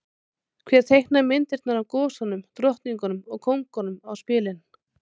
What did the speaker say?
Hver teiknaði myndirnar af gosunum, drottningunum og kóngunum á spilin?